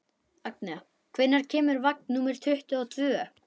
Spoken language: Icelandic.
Agnea, hvenær kemur vagn númer tuttugu og tvö?